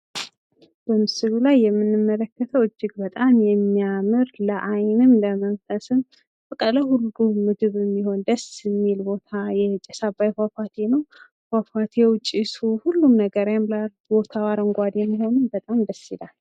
በምስሉ ላይ የምንመለከተው እጂግ በጣም የሚያምር ለአይንም ለመንፈስም በቃ ለሁሉም ምድብ የሚሆን ደስ የሚል ቦታ ጭስ አባይ ፏፏቴ ነው። ፏፏቴው ጭሱ ሁሉም ቦታው ያምራል። አረንጓዴም መሆኑ በጣም ደስ ይላል።